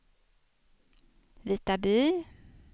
Vitaby